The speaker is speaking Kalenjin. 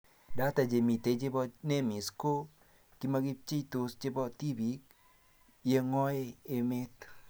Data chemitei chebo NEMIS ko kimokipcheiso chebo tibiik yeng'oi emet